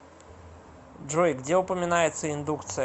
джой где упоминается индукция